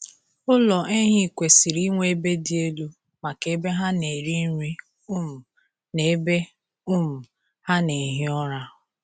Ụlọ ehi kwesịrị inwe ebe dị elu maka ebe ha na-eri nri um na ebe um ha na-ehi ụra.